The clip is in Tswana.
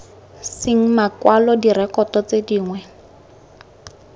seng makwalo direkoto tse dingwe